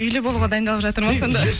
үйлі болуға дайындалып жатыр ма сонда